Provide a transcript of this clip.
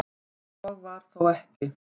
Svo var þó ekki.